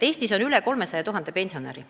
Eestis on natuke üle 300 000 pensionäri.